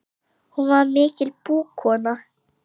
Hún var mikil búkona.